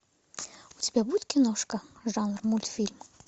у тебя будет киношка жанр мультфильм